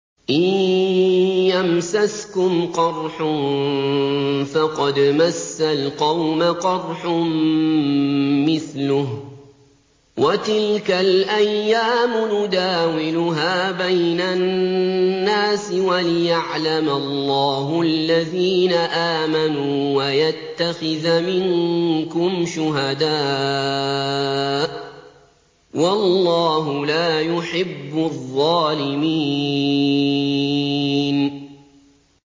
إِن يَمْسَسْكُمْ قَرْحٌ فَقَدْ مَسَّ الْقَوْمَ قَرْحٌ مِّثْلُهُ ۚ وَتِلْكَ الْأَيَّامُ نُدَاوِلُهَا بَيْنَ النَّاسِ وَلِيَعْلَمَ اللَّهُ الَّذِينَ آمَنُوا وَيَتَّخِذَ مِنكُمْ شُهَدَاءَ ۗ وَاللَّهُ لَا يُحِبُّ الظَّالِمِينَ